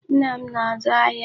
Nna m na-azụ ahịa.